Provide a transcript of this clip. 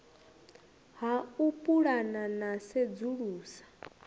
ha u pulana na sedzulusa